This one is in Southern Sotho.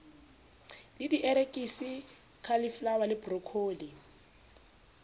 le dierekisi cauliflower le broccoli